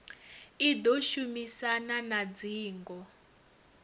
i ḓo shumisana na dzingo